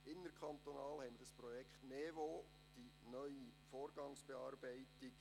Innerkantonal haben wir das Projekt NeVo, die neue Vorgangsbearbeitung.